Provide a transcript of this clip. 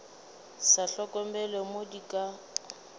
sa hlokomele mo di ka